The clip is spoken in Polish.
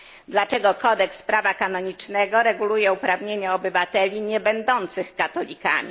Dlaczego kodeks prawa kanonicznego reguluje uprawnienia obywateli nie będących katolikami?